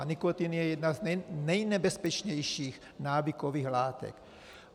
A nikotin je jedna z nejnebezpečnějších návykových látek.